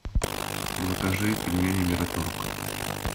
закажи пельмени мираторг